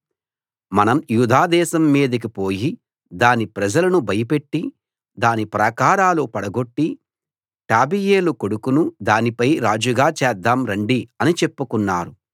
మనం యూదా దేశం మీదికి పోయి దాని ప్రజలను భయపెట్టి దాని ప్రాకారాలు పడగొట్టి టాబెయేలు కొడుకును దానిపై రాజుగా చేద్దాం రండి అని చెప్పుకున్నారు